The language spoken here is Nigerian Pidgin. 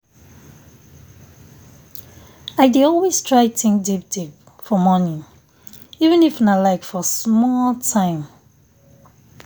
i dey always try think deep deep for morning even if nah like for small time.